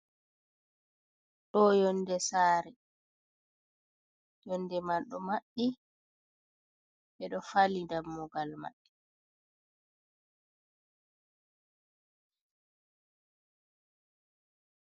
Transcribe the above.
Ɗo yonde saare, yonde man ɗo maɓɓi, ɓe ɗo fali dammugal maɓɓe.